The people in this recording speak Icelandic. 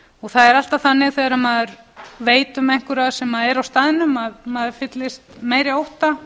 það er alltaf þannig þegar maður veit um einhverja sem eru á staðnum að maður fyllist meiri ótta